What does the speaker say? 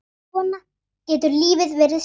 Svona getur lífið verið snúið.